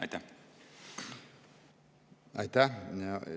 Aitäh!